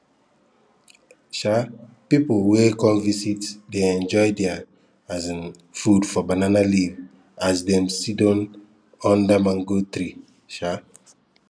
um pipu wey come visit dey enjoy their um food for banana leaf as dem sidon under mango tree um